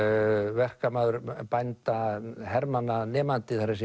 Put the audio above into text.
verkamaður bænda hermanna nemandi það